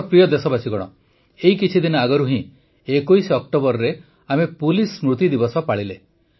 ମୋର ପ୍ରିୟ ଦେଶବାସୀଗଣ ଏଇ କିଛି ଦିନ ଆଗରୁ ହିଁ ୨୧ ଅକ୍ଟୋବରରେ ଆମେ ପୁଲିସ ସ୍ମୃତି ଦିବସ ପାଳିଲେ